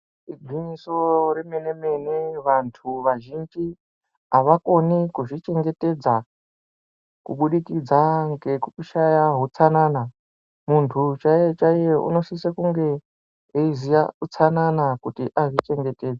Igwinyiso remenemene vantu vazhinji avakoni kuzvichengetedza kubudikidza ngekushaye utsanana muntu chaiye chaiye unosisa kunge eiziya utsanana kuti azvichengetedze.